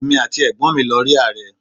Èmi àti ẹ̀gbọ́n mi lọ rí Ààrẹ.